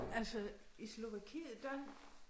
Altså i Slovakiet der